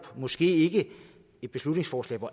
måske ikke et beslutningsforslag hvor